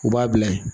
U b'a bila ye